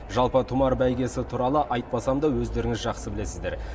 жалпы тұмар бәйгесі туралы айтпасам да өздеріңіз жақсы білесіздер